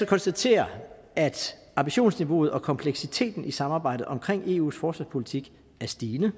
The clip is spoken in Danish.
konstatere at ambitionsniveauet og kompleksiteten i samarbejdet omkring eus forsvarspolitik er stigende